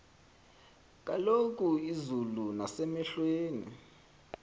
kulo izulu nasemehlweni